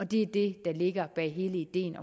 det er det der ligger bag hele ideen